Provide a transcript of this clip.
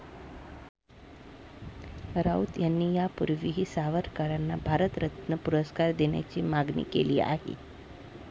राऊत यांनी यापूर्वीही सावरकरांना भारतरत्न पुरस्कार देण्याची मागणी केली आहे.